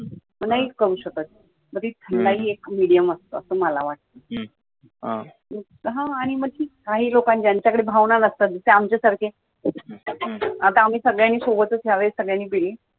मग ते नाही करू शकत मग ती एक medium असतं असे मला वाटतं ती एक काही लोकं ज्यांच्या सोबत भावना नसतात आमच्या सारखे आता आम्ही सगळ्यांनी सोबतच द्यावे सगळ्यांनीच पीली